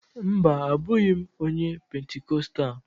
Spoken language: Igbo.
Mba, abụghị m onye Pentikostal